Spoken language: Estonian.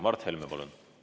Mart Helme, palun!